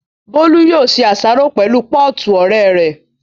Bólú yóò ṣe àsáró pẹ̀lú pọ́ọ̀tù ọ̀rẹ́ rẹ̀